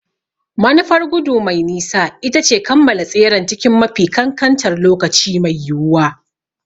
Manufar gudu mai nisa ita ce kammala tseren cikin mafi kankantar lokaci mai yiwuwa.